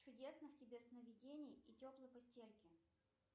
чудесных тебе сновидений и теплой постельки